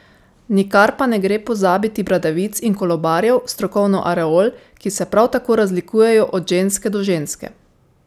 Nikar pa ne gre pozabiti bradavic in kolobarjev, strokovno areol, ki se prav tako razlikujejo od ženske do ženske.